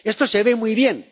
Esto se ve muy bien.